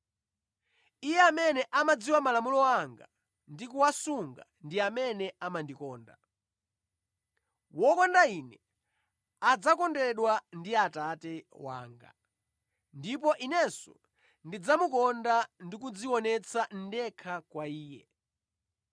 Iye amene amadziwa malamulo anga ndi kuwasunga ndiye amene amandikonda. Wokonda Ine adzakondedwa ndi Atate wanga ndipo Inenso ndidzamukonda ndikudzionetsa ndekha kwa iye.”